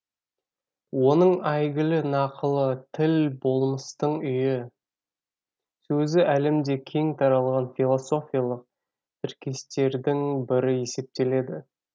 оның әйгілі нақылы тіл болмыстың үйі сөзі әлемде кең тараған философиялық тіркестердің бірі есептеледі